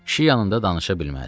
Kişi yanında danışa bilməz.